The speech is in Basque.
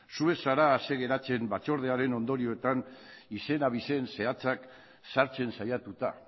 zu ez zara ase geratzen batzordearen ondorioetan izen abizen zehatzak sartzen saiatuta